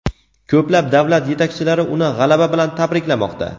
Ko‘plab davlat yetakchilari uni g‘alaba bilan tabriklamoqda.